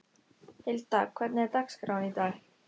Hilda, hvernig er dagskráin í dag?